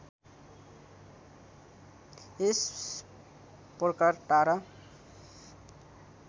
यस प्रकार तारा